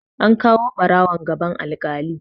An kawo ɓarawon gaban alkali.